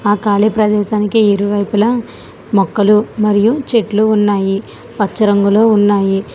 ఆ కాలి ప్రదేశానికి ఇరువైపులా మొక్కలు మరియు చెట్లు ఉన్నాయి పచ్చ రంగులో ఉన్నాయి.